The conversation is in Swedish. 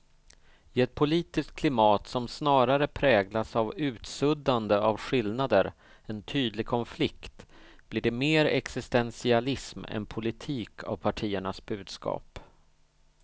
I ett politiskt klimat som snarare präglas av utsuddande av skillnader än tydlig konflikt blir det mer existentialism än politik av partiernas budskap.